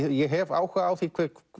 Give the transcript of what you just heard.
ég hef áhuga á því